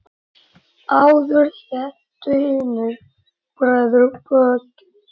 Áður hétu hinir breiðu bökin.